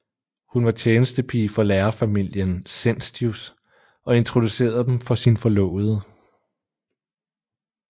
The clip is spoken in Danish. Hun var tjenestepige for lærerfamilien Senstius og introducerede dem for sin forlovede